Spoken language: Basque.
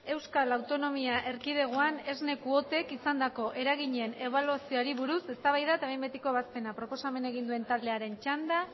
euskal autonomia erkidegoan esne kuotek izandako eraginen ebaluazioari buruz eztabaida eta behin betiko ebazpena proposamena egin duen taldearen txanda